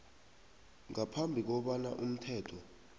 ngaphambi kobana umthetho